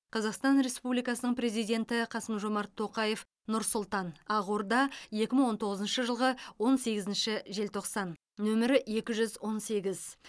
қазақстан республикасының президенті қасым жомарт тоқаев нұр сұлтан ақорда екі мың он тоғызыншы жылғы он сегізінші желтоқсан нөмірі екі жүз он сегіз